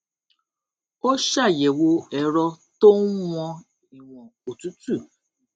ó ṣàyèwò èrọ tó n wọn ìwọn òtútù